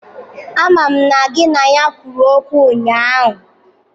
Amam na gị na ya gwuru egwu ụnyahụ!